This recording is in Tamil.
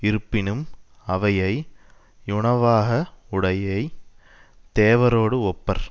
யிருப்பினும் அவையை யுணவாக உடையை தேவரோடு ஒப்பர்